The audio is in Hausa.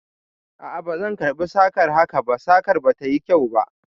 A a, bazan karɓi sakar haka ba, sakar ba ta yi kyau ba.